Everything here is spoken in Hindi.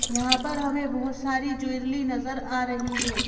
यहाँ पर हमें बहुत सारी ज्वेलली नजर आ रही है।